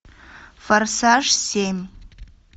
форсаж семь